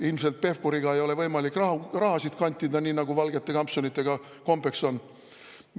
Ilmselt Pevkuriga ei ole võimalik raha kantida, nii nagu valgete kampsunitega kombeks on.